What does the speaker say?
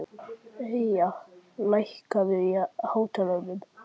Eyja, lækkaðu í hátalaranum.